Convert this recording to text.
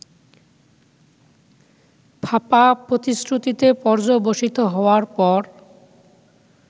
ফাঁপা প্রতিশ্রুতিতে পর্যবসিত হওয়ার পর